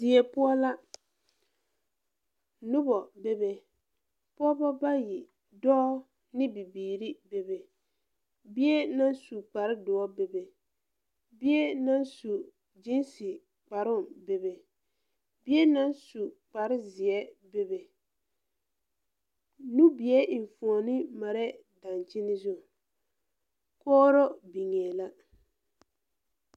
Deɛ pou la nuba bebe pɔgba bayi doɔ ne bibiiri bebe bie nang su kpare dou bebe bie nang su jeensi kparoo bebe bie nang su kpare zie bebe nubie enfuoni mare dankyeni zu kooro bengeẽ la.